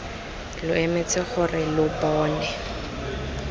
lo emetse gore lo bone